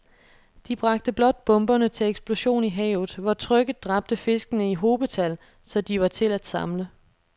De bragte blot bomberne til eksplosion i havet, hvor trykket dræbte fiskene i hobetal, så de var til at samle